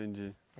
Entendi.